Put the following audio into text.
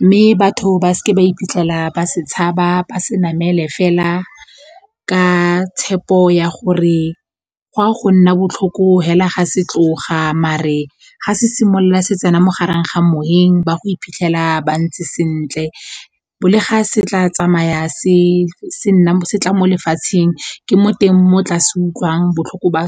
mme batho ba seke ba iphitlhela ba se tshaba ba se namele fela ka tshepo ya gore go a go nna botlhoko hela ga se tloga ga se simolola se tsena mo gareng ga moyeng ba go iphitlhela ba ntse sentle, le ga se tla tsamaya se tla mo lefatsheng ke mo teng mo o tla se utlwang botlhoko ba.